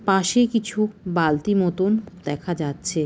পাশে কিছু বালতি মতন দেখা যাচ্ছে।